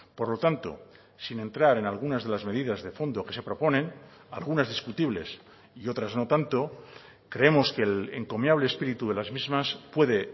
por lo tanto sin entrar en algunas de las medidas de fondo que se proponen algunas discutibles y otras no tanto creemos que el encomiable espíritu de las mismas puede